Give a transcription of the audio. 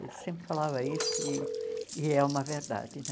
Ele sempre falava isso e e é uma verdade né.